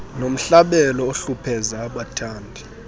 nomhlabelo ohlupheza abathandi